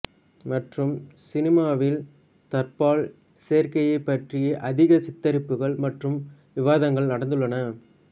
மற்றும் சினிமாவில் தற்பால் சேர்க்கைபற்றிய அதிக சித்தரிப்புகள் மற்றும் விவாதங்கள் நடந்துள்ளன